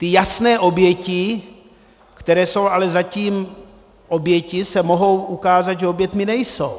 Ty jasné oběti, které jsou ale zatím oběti, se mohou ukázat, že oběťmi nejsou.